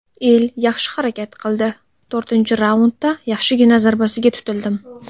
El yaxshi harakat qildi, to‘rtinchi raundda yaxshigina zarbasiga tutildim.